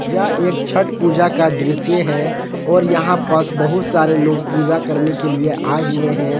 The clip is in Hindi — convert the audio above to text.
यह एक छठ पूजा का दृश्य है और यहां पस बहुत सारे लोग पूजा करने के लिए आए हुए हैं।